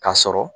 K'a sɔrɔ